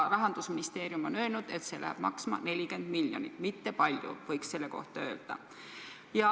Rahandusministeerium on öelnud, et see läheks maksma 40 miljonit – mitte väga palju, võiks selle kohta öelda.